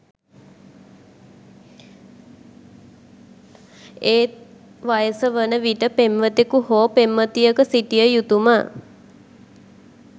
ඒ වයස වන විට පෙම්වතකු හෝ පෙම්වතියක සිටිය යුතු ම